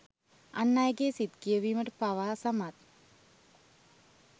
අන් අයගේ සිත් කියවීමට පවා සමත්